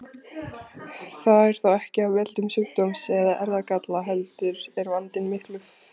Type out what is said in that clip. Það er þó ekki af völdum sjúkdóms eða erfðagalla heldur er vandinn miklu frekar áskapaður.